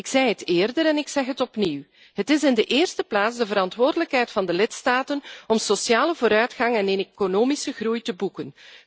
Ik zei het eerder en ik zeg het opnieuw het is in de eerste plaats de verantwoordelijkheid van de lidstaten om sociale vooruitgang en economische groei te boeken.